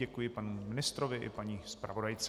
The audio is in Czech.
Děkuji panu ministrovi i paní zpravodajce.